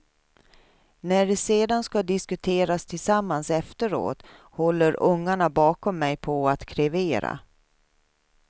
När det sedan ska diskuteras tillsammans efteråt håller ungarna bakom mig på att krevera.